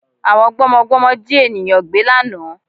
Àwọn gbọ́mọgbọ́mọ Jí ènìyàngbé lánàá